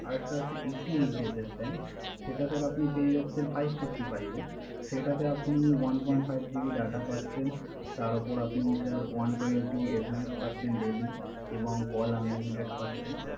আর একটা আছে Eighty eight days এর Plan সেটা Sir আপনি পেয়ে যাচ্ছেন Five sixty five এ সেটাতে আপনি one point five GB data পাচ্ছেন। তার উপর আপনি Sir one twenty SMS পাচ্ছেন Daily এবং Call unlimited পাচ্ছেন